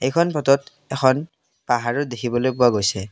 এইখন ফটোত এখন পাহাৰও দেখিবলৈ পোৱা গৈছে।